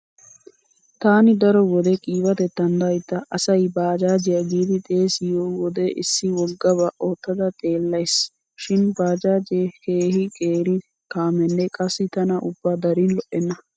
Taani daro wode qiibatettan daydda asay baajaajiya giidi haasayiyo wode issi woggaba oottada xeellays. Shin baajaajee keehi qeeri kaamenne qassi tana ubba darin lo'enna.